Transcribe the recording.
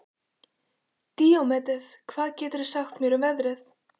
Díómedes, hvað geturðu sagt mér um veðrið?